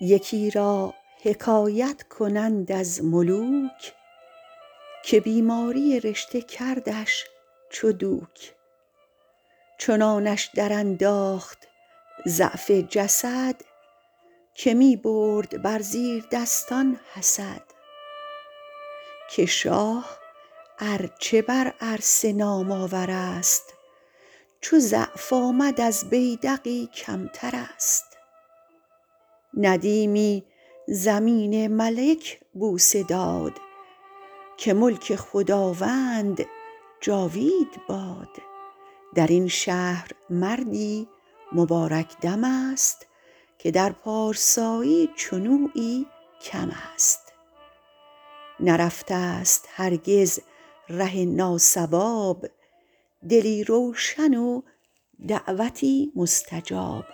یکی را حکایت کنند از ملوک که بیماری رشته کردش چو دوک چنانش در انداخت ضعف جسد که می برد بر زیردستان حسد که شاه ار چه بر عرصه نام آور است چو ضعف آمد از بیدقی کمتر است ندیمی زمین ملک بوسه داد که ملک خداوند جاوید باد در این شهر مردی مبارک دم است که در پارسایی چنویی کم است نرفته ست هرگز ره ناصواب دلی روشن و دعوتی مستجاب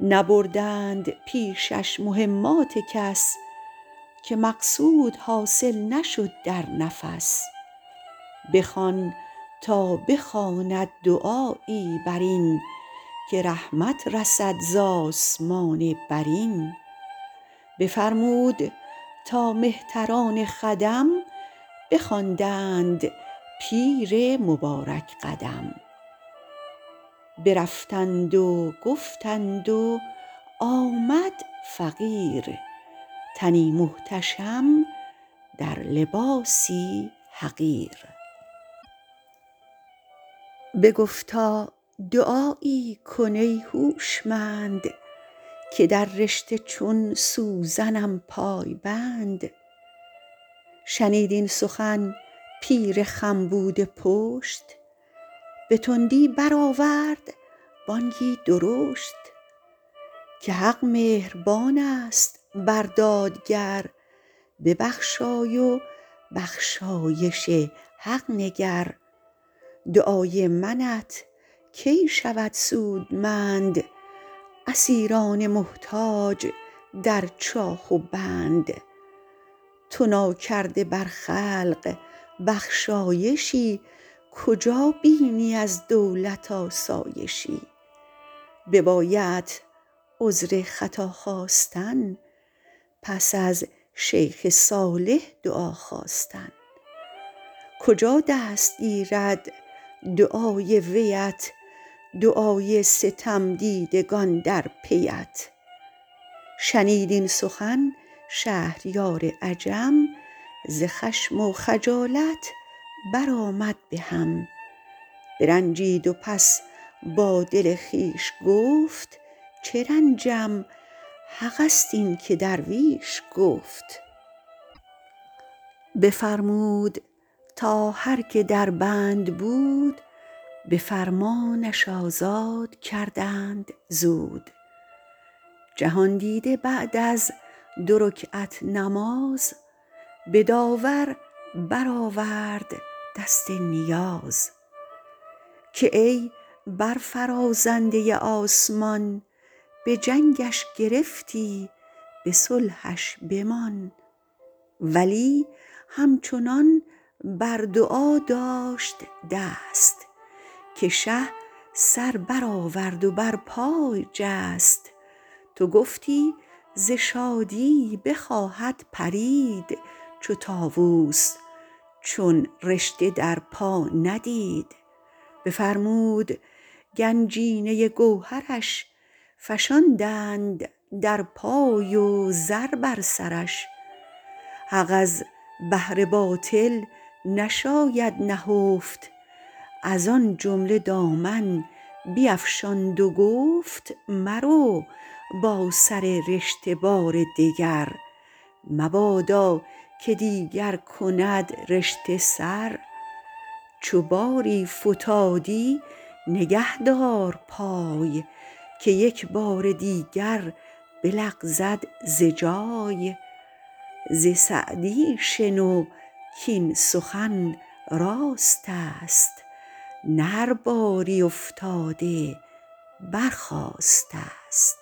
نبردند پیشش مهمات کس که مقصود حاصل نشد در نفس بخوان تا بخواند دعایی بر این که رحمت رسد ز آسمان برین بفرمود تا مهتران خدم بخواندند پیر مبارک قدم برفتند و گفتند و آمد فقیر تنی محتشم در لباسی حقیر بگفتا دعایی کن ای هوشمند که در رشته چون سوزنم پای بند شنید این سخن پیر خم بوده پشت به تندی برآورد بانگی درشت که حق مهربان است بر دادگر ببخشای و بخشایش حق نگر دعای منت کی شود سودمند اسیران محتاج در چاه و بند تو ناکرده بر خلق بخشایشی کجا بینی از دولت آسایشی ببایدت عذر خطا خواستن پس از شیخ صالح دعا خواستن کجا دست گیرد دعای ویت دعای ستمدیدگان در پیت شنید این سخن شهریار عجم ز خشم و خجالت بر آمد بهم برنجید و پس با دل خویش گفت چه رنجم حق است این که درویش گفت بفرمود تا هر که در بند بود به فرمانش آزاد کردند زود جهاندیده بعد از دو رکعت نماز به داور برآورد دست نیاز که ای برفرازنده آسمان به جنگش گرفتی به صلحش بمان ولی همچنان بر دعا داشت دست که شه سر برآورد و بر پای جست تو گفتی ز شادی بخواهد پرید چو طاووس چون رشته در پا ندید بفرمود گنجینه گوهرش فشاندند در پای و زر بر سرش حق از بهر باطل نشاید نهفت از آن جمله دامن بیفشاند و گفت مرو با سر رشته بار دگر مبادا که دیگر کند رشته سر چو باری فتادی نگه دار پای که یک بار دیگر بلغزد ز جای ز سعدی شنو کاین سخن راست است نه هر باری افتاده برخاسته ست